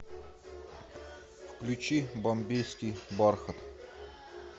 включи бомбейский бархат